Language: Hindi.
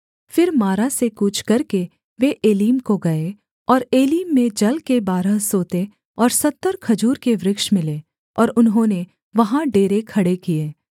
फिर मारा से कूच करके वे एलीम को गए और एलीम में जल के बारह सोते और सत्तर खजूर के वृक्ष मिले और उन्होंने वहाँ डेरे खड़े किए